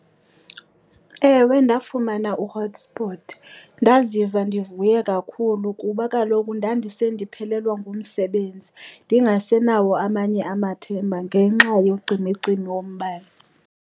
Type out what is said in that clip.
Ewe, ndafumana u-hotspot. Ndaziva ndivuye kakhulu kuba kaloku ndandise ndiphelelwa ngumsebenzi ndingasenawo amanye amathemba ngenxa yocimicimi wombane.